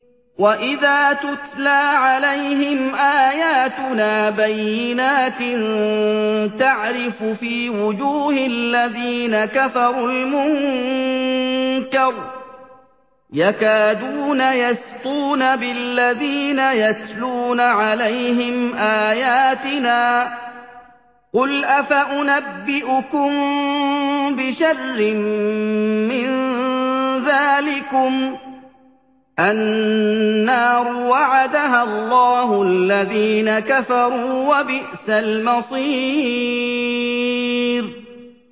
وَإِذَا تُتْلَىٰ عَلَيْهِمْ آيَاتُنَا بَيِّنَاتٍ تَعْرِفُ فِي وُجُوهِ الَّذِينَ كَفَرُوا الْمُنكَرَ ۖ يَكَادُونَ يَسْطُونَ بِالَّذِينَ يَتْلُونَ عَلَيْهِمْ آيَاتِنَا ۗ قُلْ أَفَأُنَبِّئُكُم بِشَرٍّ مِّن ذَٰلِكُمُ ۗ النَّارُ وَعَدَهَا اللَّهُ الَّذِينَ كَفَرُوا ۖ وَبِئْسَ الْمَصِيرُ